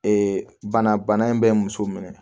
Ee bana in bɛ muso minɛ